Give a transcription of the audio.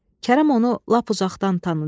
Kərəm onu lap uzaqdan tanıdı.